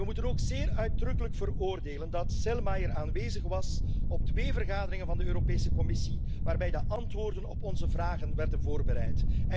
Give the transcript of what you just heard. We moeten ook zeer uitdrukkelijk veroordelen dat Selmayr aanwezig was op twee vergaderingen van de Europese Commissie, waarbij de antwoorden op onze vragen werden voorbereid.